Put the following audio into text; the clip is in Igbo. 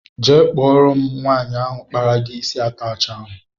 Jee kpọrọ m nwaanyị ahụ kpara gị isi atachi ahụ!!!!